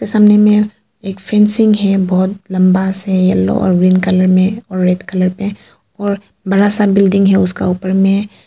सामने में एक फेंसिंग है बहुत लंबा सा येलो और ग्रीन कलर में और रेड कलर में और बड़ा सा बिल्डिंग है उसका ऊपर में।